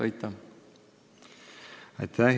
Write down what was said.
Aitäh!